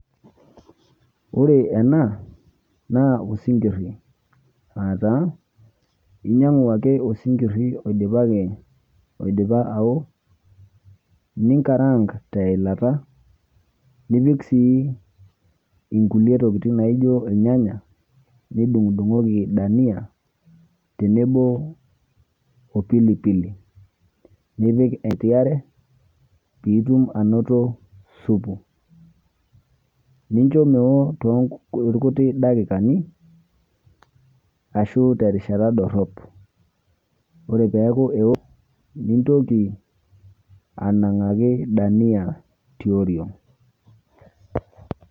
Ore ena naa osinkirri aataa inyang'u osinkirri oidipaki, oidipa awo, ninkarang teilata nipik sii inkulie tokitin naijo ilnyanya nidung'udung'oki dania tenebo o pilipili nipik eti are piitum anoto supu. Nincho meo toolkuti dakikani ashu terishata dorrop. Ore peaku eo nintoki anang'aki dania tioriong'.